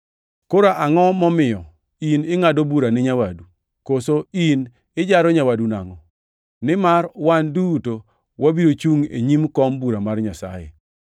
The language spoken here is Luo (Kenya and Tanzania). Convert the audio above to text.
Koro angʼo momiyo in ingʼado bura ni nyawadu? Koso in ijaro nyawadu nangʼo? Nimar wan duto wabiro chungʼ e nyim kom bura mar Nyasaye.